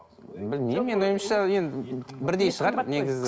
білмеймін менің ойымша енді бірдей шығар негізі